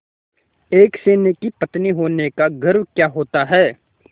एक सैनिक की पत्नी होने का गौरव क्या होता है